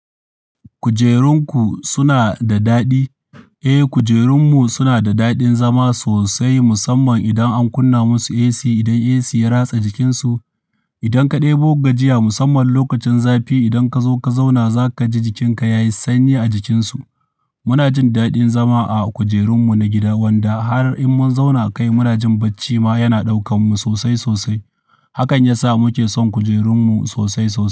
Kujerunku suna da daɗi? Eh, kujerunmu suna da daɗin zama sosai musamman idan an kunna musu AC. Idan AC ya ratsa jikinsu, idan ka ɗebo gajiya musamman lokacin zafi, idan ka zo ka zauna za ka ji jikinka yayi sanyi a jikinsu. Muna jin daɗin zama a kujerunmu na gida, wanda har in mun zauna kai muna jin bacci ma yana ɗaukan mu sosai sosai. Hakan ya sa muke son kujerunmu sosai sosai.